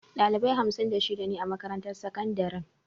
Ɗalibai hamsin da shida ne a makarantar sakandaren.